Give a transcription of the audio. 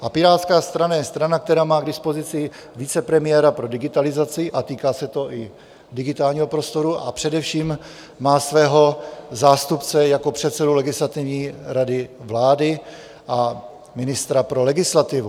A Pirátská strana je strana, která má k dispozici vicepremiéra pro digitalizaci a týká se to i digitálního prostoru, a především má svého zástupce jako předsedu Legislativní rady vlády a ministra pro legislativu.